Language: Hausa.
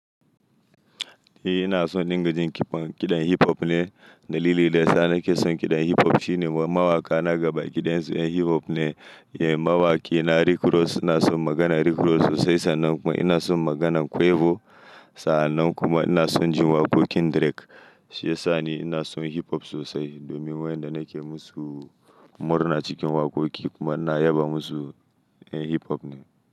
Eh ina son in dinga jin kiɗan hip hop ne, dalilin da yana ke son kiɗan hip hop shine mawaka na gaba kiɗan su hip hop ne. Yanzu mawaki na Rick Ross ina son maganar Rick Ross sosai sannan kuma ina son maganan Quavo sannan kuma ina son jin waƙoƙin Drake. Shi ya sa ni ina son hip hop sosai domin wayanda nake musu murna cikin waƙoƙi kuma na yaba musu yan hip hop ne.